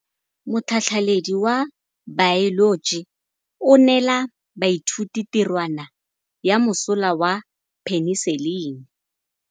Motlhatlhaledi wa baeloji o neela baithuti tirwana ya mosola wa peniselene.